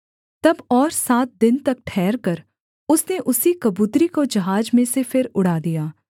तब और सात दिन तक ठहरकर उसने उसी कबूतरी को जहाज में से फिर उड़ा दिया